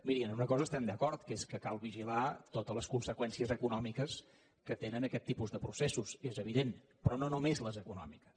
miri en una cosa estem d’acord que és que cal vigilar totes les conseqüències econòmiques que tenen aquest tipus de processos és evident però no només les econòmiques